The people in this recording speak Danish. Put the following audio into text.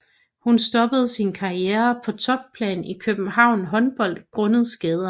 Hun stoppede sin karriere på topplan i København Håndbold grundet skader